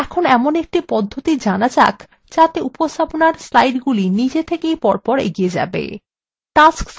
এখন এমন একটি পদ্ধতি জানা যাক যাতে উপস্থাপনার স্লাইডগুলি নিজে থেকেই পরপর এগিয়ে যাবে